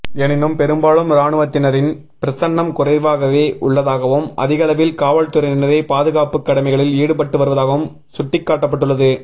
எனினும் பெரும்பாலும் இராணுவத்தினரின் பிரசன்னம் குறைவாகவே உள்ளதாகவும் அதிகளவில் காவல்துறையினரே பாதுகாப்பு கடமைகளில் ஈடுபட்டு வருவதாகவும் சுட்டிக்காட்டப்பட்டுள்ளது